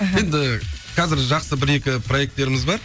мхм енді қазір жақсы бір екі проектеріміз бар